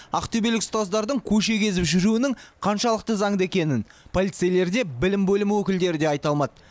ақтөбелік ұстаздардың көше кезіп жүруінің қаншалықты заңды екенін полицейлер де білім бөлімі өкілдері де айта алмады